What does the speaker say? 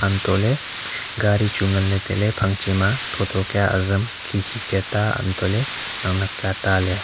untohley gari chu nganley tailey phangche ma thotho kya azam khikhi ka ta untohley naknak ka ta leya.